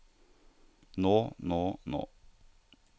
nå nå nå